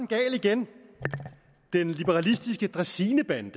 gal igen den liberalistiske dræsinebande